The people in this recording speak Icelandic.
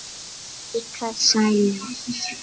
En líka sælu.